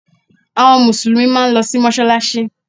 Àwọn Mùsùlùmí máa ń lọ sí mọ́sálásí